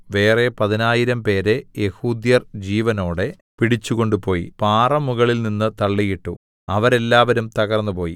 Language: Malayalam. വേറെ പതിനായിരംപേരെ യെഹൂദ്യർ ജീവനോടെ പിടിച്ചു കൊണ്ടുപോയി പാറമുകളിൽനിന്നു തള്ളിയിട്ടു അവരെല്ലാവരും തകർന്നുപോയി